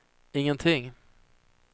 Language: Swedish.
ingenting